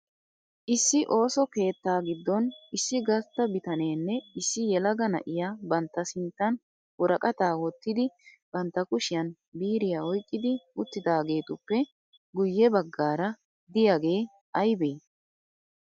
Issi ooso keettaa giddon issi gastta bitanenne issi yelaga na'iya bantta sinttan woraqataa wottidi bantta kushiyan biiriya oyiqqidi uttidaageetuppe guyye baggaara diyagee ayibe?